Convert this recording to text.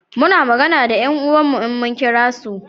Muna magana da 'yan uwan mu in mun kira su